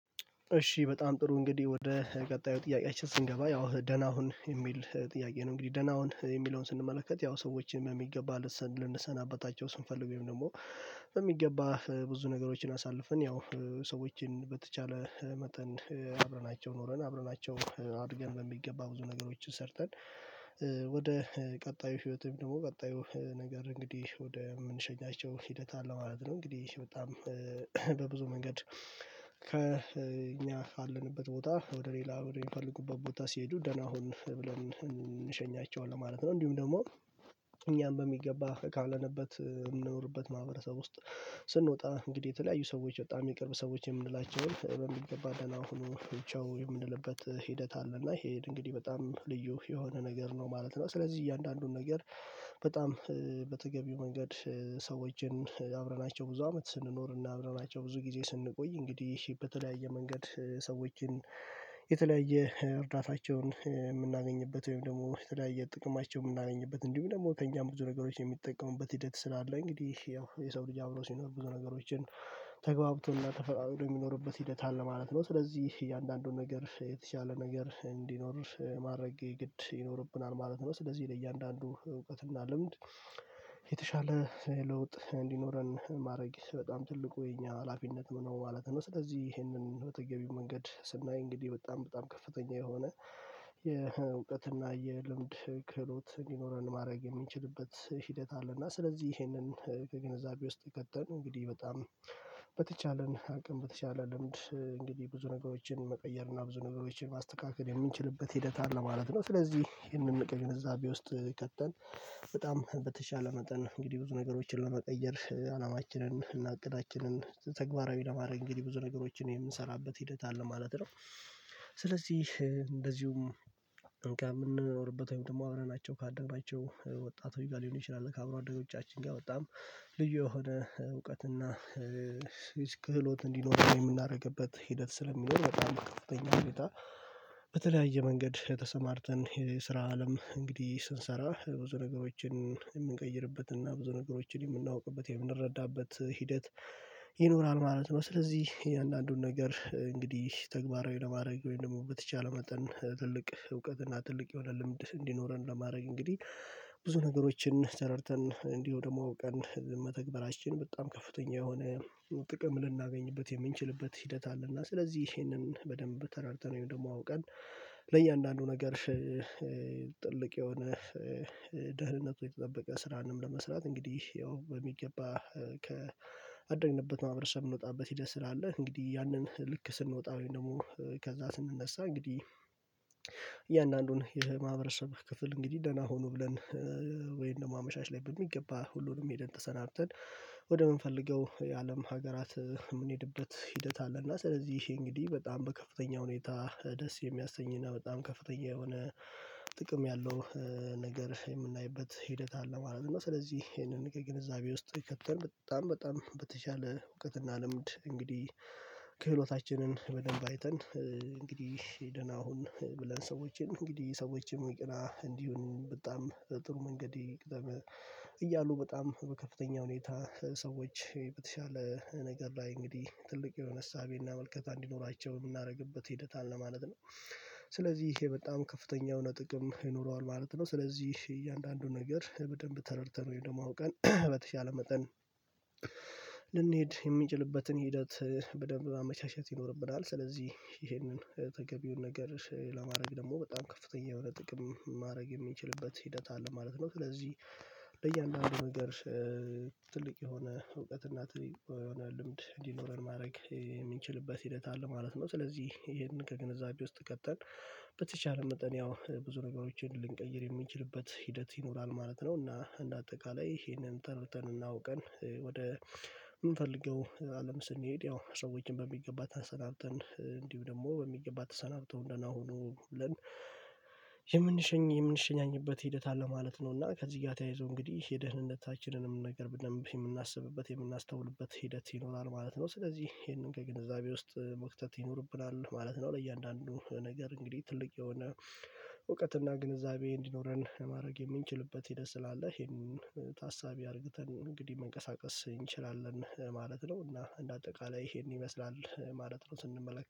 እሺ በጣም ጥሩ እንግዲህ ወደ ቀጣዩ ጥያቄያችን ስንገባ ያው ደህና ሁን የሚል ጥያቄ ነው። እንግዲህ ደህና ሁን የሚለውን ስንመለከት ያው ሰዎችን የሚገባ ልንሰናበታቸው ስንፈልገው ወይም ደግሞ የሚገባ ብዙ ነገሮችን አሳልፍን ያው ሰዎችን በተቻለ መጠን አብረናቸው ኖረን አብረናቸው አድገን በሚገባ ብዙ ነገሮችን ሰርተን ወደ ቀጣዩ ህይወትም ደግሞ ቀጣዩ ነገር እንግዲህ ወደ የምንሸኛቸው ሂደት አለ ማለት ነው። እንግዲህ በጣም በብዙ መንገድ ከእኛ ካለንበት ቦታ ወደ ሌላ ወደ የሚፈልጉበት ቦታ ሲሄዱ ደህና ሁን ብለን እንሸኛቸዋለን ማለት ነው። እንዲሁም ደግሞ እኛም በሚገባ ካልነበበት የምንኖርበት ማህበረሰብ ውስጥ ስንወጣ እንግዲህ የተለያዩ ሰዎች በጣም የቅርብ ሰዎች የምንላቸውን ትዕብ የምገባ ደህና ሁኑ ቻው የምንልበት ሂደት አለ እና ይሄ እንግዲህ በጣም ልዩ የሆነ ነገር ነው ማለት ነው። ስለዚህ እያንዳንዱን ነገር በጣም በተገቢው መንገድ ሰዎችን አብረናቸው ብዙ አመት ስንኖር እና አብረናቸው ብዙ ጊዜ ስንቆይ እንግዲህ ይሄ በተለያየ መንገድ ሰዎችን የተለያየ እርዳታቸውን የምናገኝበት ወይም ደግሞ የተለያየ ጥቅማቸውን የምናገኝበት እንዲሁም ደግሞ ከእኛም ብዙ ነገሮች የሚጠቀሙበት ሂደት ስላለ እንግዲህ ያው የሰው ልጅ አብረው ሲኖር ብዙ ነገሮችን ተግባብተውና ተፈቃቅረው የሚኖርበት ሂደት አለ ማለት ነው። ስለዚህ እያንዳንዱን ነገር የተቻለ ነገር እንዲኖር ማድረጌ ግድ ይኖርብናል ማለት ነው። ስለዚህ ለእያንዳንዱ እውቀትና ልምድ የተሻለ ለውጥ እንዲኖረን ማድረግ በጣም ትልቁ የኛ ሀላፊነት ነው ማለት ነው። ስለዚህ ይህንን በተገቢው መንገድ ስናይ እንግዲህ በጣም በጣም ከፍተኛ የሆነ የእውቀትና የልምድ ክህሎት እንዲኖረን ማድረግ የሚችልበት ሂደት አለ እና ስለዚህ ይሄንን ከግንዛቤ ውስጥ ከተን እንግዲህ በጣም በተቻለን አቅም በተቻለ ልምድ እንግዲህ ብዙ ነገሮችን መቀየር እና ብዙ ነገሮችን ማስተካከል የምንችልበት ሂደት አለ ነው። ስለዚህ ይህንን እቅድ እዛ ቢወስድ ከተን በጣም በተቻለ መጠን ነው እንግዲህ ብዙ ነገሮችን ለመቀየር አላማችንን እና እቅዳችንን ተግባራዊ ለማድረግ እንግዲህ ብዙ ነገሮችን የምንሰራበት ሂደት አለ ማለት ነው። ስለዚህ እንደዚሁም እንክን የምንኖርበት ወይም ደግሞ አብረናቸው ካደግናቸው ወጣት ወይ ጋር ሊሆን ይችላል ከአብሮ አደጎቻችን ጋር በጣም ልዩ የሆነ እውቀት እና ክህሎት እንዲኖር የምናደርግበት ሂደት ስለሚኖር በጣም በከፍተኛ ሁኔታ በተለያየ መንገድ ተሰማርተን የስራ አለም እንግዲህ ስንሰራ ብዙ ነገሮችን የምንቀይርበት እና ብዙ ነገሮችን የምናውቅበት የምንረዳበት ሂደት ይኖራል ማለት ነው። ስለዚህ የእያንዳንዱን ነገር እንግዲህ ተግባራዊ ለማድረግ ወይም ደግሞ በተቻለ መጠን ትልቅ እውቀት እና ትልቅ የሆነ ልምድ እንዲኖረን ለማድረግ እንግዲህ ብዙ ነገሮችን ተረድተን እንዲሁ ደግሞ ቀን መተግበራችን በጣም ከፍተኛ የሆነ ጥቅም ልናገኝበት የምንችልበት ሂደት አለና ስለዚህ ይሄንን በደንብ ተረድተን ወይም ደግሞ አውቀን ለእያንዳንዱ ነገር ጥልቅ የሆነ ደህንነቱ የተጠበቀ ስራንም ለመስራት እንግዲህ ያው በሚገባ ከአደግንበት ማህበረሰብ የምንወጣበት ሂደት ስላለ እንግዲህ ያንን ልክ ስንወጣ ወይም ደግሞ ከዛ ስንነሳ እንግዲህ እያንዳንዱን ይሄ ማህበረሰብ ክፍል እንግዲህ ደህና ሁኑ ብለን ወይም ደግሞ አመሻሽ ላይ በሚገባ ሁሉንም ሄደን ተሰናብተን ወደምንፈልገው የአለም ሀገራት የምንሄድበት ሂደት አለ እና ስለዚህ ይሄ እንግዲህ በጣም በከፍተኛ ሁኔታ ደስ የሚያሰኝ እና በጣም ከፍተኛ የሆነ ጥቅም ያለው ነገር የምናይበት ሂደት አለ ማለት ነው። እና ስለዚህ ይሄንን ግንዛቤ ውስጥ ይከተን በጣም በጣም በተቻለ እውቀትና ልምድ እንግዲህ ከህሎታችንን በደንብ አይተን እንግዲህ ደህና ሁን ብለን ሰዎችን እንግዲህ ሰዎችን ይቅናህ እንዲሆን በጣም ጥሩ መንገድ ይቅደም እያሉ በጣም በከፍተኛ ሁኔታ ሰዎች በተሻለ ነገር ላይ እንግዲህ ትልቅ የሆነ እሳቤና መልከታ እንዲኖራቸው የምናደርግበት ሂደታል ለማለት ነው ስለዚህ ይሄ በጣም ከፍተኛው የሆነ ጥቅም ይኖረዋል ማለት ነው። ስለዚህ እያንዳንዱን ነገር በደንብ ተረድተነው ወይ ደግሞ አውቀን በተቻለ መጠን ልንሄድ የሚችልበትን ሂደት በደንብ ማመቻቸት ይኖርብናል ስለዚህ ይሄንን ተገቢውን ነገር ለማድረግ ደግሞ በጣም ከፍተኛ የሆነ ጥቅም ማድረግ የሚችልበት ሂደት አለ ማለት ነው። ስለዚህ በእያንዳንዱ ነገር ትልቅ የሆነ እውቀት እናት የሆነ ልምድ እንዲኖረን ማድረግ የምንችልበት ሂደት አለ ማለት ነው። ስለዚህ ይሄንን ከግንዛቤ ውስጥ ከተን በተቻለ መጠን ያው ብዙ ነገሮችን ልንቀይር የሚችልበት ሂደት ይኖራል ማለት ነው። እና እንደ አጠቃላይ ይሄንን ተረድተን አውቀን ወደ የምንፈልገው አለም ስንሄድ ያው ሰዎችን በሚገባ ተሰናብተን እንዲሁ ደግሞ በሚገባ ተሰናብቶ ደህና ሁኑ ብለን የምንሸኝ የምንሸኛኝበት ሂደት አለ ማለት ነው። እና ከዚህ ጋር ተያይዞ እንግዲህ የደህንነታችንንም ነገር በደንብ የምናስብበት የምናስተውልበት ሂደት ይኖራል ማለት ነው። ስለዚህ ይሄንን ከግንዛቤ ውስጥ መክተት ይኖርብናል ማለት ነው። ለእያንዳንዱ ነገር እንግዲህ ትልቅ የሆነ ግንዛቤ እንዲኖረን ማድረግ የምንችልበት ሂደት ስላለህ ይሄንን ታሳቢ አድርገን እንግዲህ መንቀሳቀስ እንችላለን ማለት ነው። እና እንደ አጠቃላይ ይሄን ይመስላል ማለት ነው። ስንመለከት